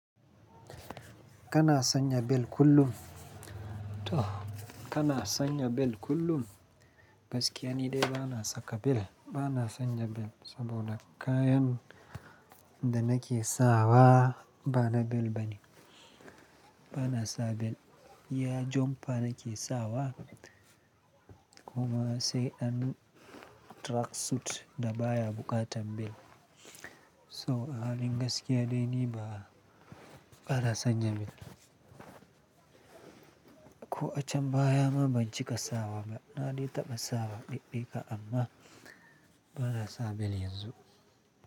Kana sanya bel kullum? To, kana sanya bel kullum? Gaskiya ni dai bana saka bel. Bana sanya bel saboda kayan da nake sawa bana bel bane. Bana sa bel. Iya jumper nake sawa kuma sai ɗan track suit da baya buƙatan bel. So a halin gaskiya dai ni ba, bana sanya bel. Ko a can baya ma ban cika sawa ba. Na dai taɓa sawa ɗiɗi ka amma bana sa bel yanzu.